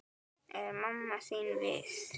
Er mamma þín við?